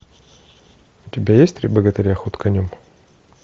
у тебя есть три богатыря ход конем